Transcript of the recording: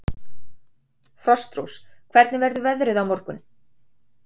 Frostrós, hvernig verður veðrið á morgun?